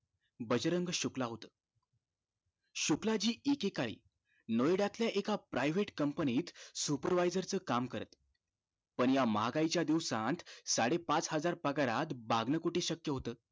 बजरंग शुक्ला होत शुक्लाजी एकेकाळी नोएडातल्या एका private company त supervisor च काम करत पण ह्या महागाईच दिवसात साडे पाच हजार पगारात भागन कुठं शक्य होत